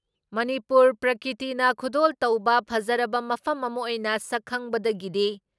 ꯃꯅꯤꯄꯨꯔ ꯄ꯭ꯔꯀ꯭ꯔꯤꯇꯤꯅ ꯈꯨꯗꯣꯜ ꯇꯧꯕ ꯐꯖꯔꯕ ꯃꯐꯝ ꯑꯃ ꯑꯣꯏꯅ ꯁꯛꯈꯪꯕꯗꯒꯤꯗꯤ